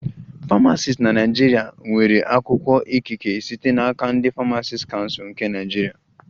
Famacisti na Naịjirịa ga-enwerịrị akwụkwọ ikike site n'aka ndị Famacisti Kansul nke Naịjirịa